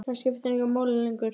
Það skiptir engu máli lengur.